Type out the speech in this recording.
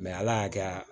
ala y'a kɛ